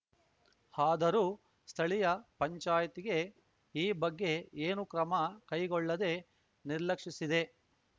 ಆದರೂ ಸ್ಥಳೀಯ ಪಂಚಾಯ್ತಿಗೆ ಈ ಬಗ್ಗೆ ಏನೂ ಕ್ರಮ ಕೈಗೊಳ್ಳದೆ ನಿರ್ಲಕ್ಷಿಸಿದೆ